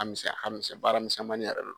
ka misɛn a ka misɛn baaramisɛmani yɛrɛ de don